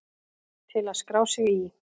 Til að skrá sig í